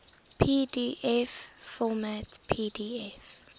pdf format pdf